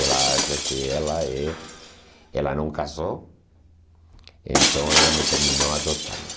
Ela acha que ela é ela não casou, então ela me terminou adotando.